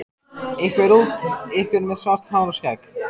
Einhver út, einhver með svart hár og skegg.